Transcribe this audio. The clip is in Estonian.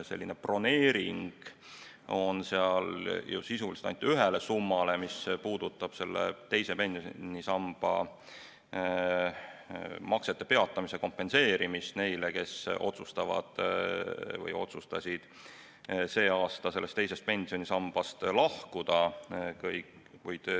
Eelbroneering on seal ju sisuliselt ainult ühele summale, sellele, mis puudutab teise pensionisamba maksete peatamise kompenseerimist neile, kes otsustavad või otsustasid sel aastal teisest pensionisambast lahkuda.